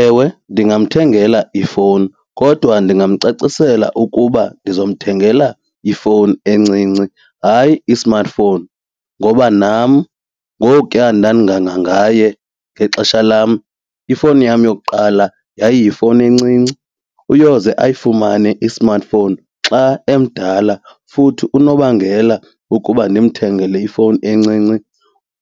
Ewe, ndingamthengela ifowuni kodwa ndingamcacisela ukuba ndizomthengela ifowuni encinci hayi i-smartphone ngoba nam ngokuya ndandingangangaye ngexesha lam ifowuni yam yokuqala yayiyifowuni encinci. Uyoze ayifumane i-smartphone xa emdala futhi unobangela wokuba ndimthengele ifowuni encinci